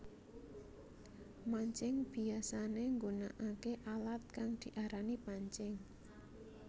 Mancing biyasané nggunakaké alat kang diarani pancing